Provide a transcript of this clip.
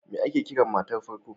Me ake Kiran matar farko?